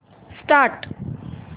start